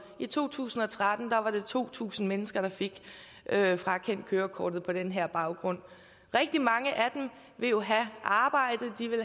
i to tusind og tretten var det to tusind mennesker der fik frakendt kørekortet på den her baggrund rigtig mange af dem vil jo have et arbejde